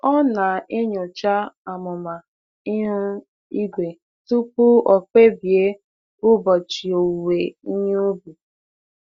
Ọ na-enyocha amụma ihu igwe tupu ọ kpebie ụbọchị owuwe ihe ubi.